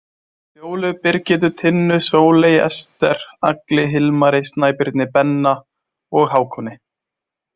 Fjólu, Birgittu, Tinnu, Sóleyju, Ester, Agli, Hilmari, Snæbirni, Benna og Hákoni.